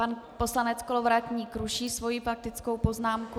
Pan poslanec Kolovratník ruší svoji faktickou poznámku.